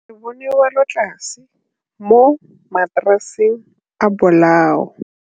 Re bone wêlôtlasê mo mataraseng a bolaô.